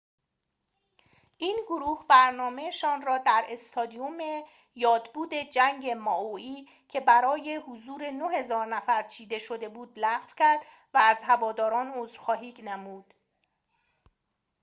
این گروه برنامه‌شان را در استادیوم یادبود جنگ مائوئی که برای حضور ۹,۰۰۰ نفر چیده شده بود لغو کرد و از هواداران عذرخواهی نمود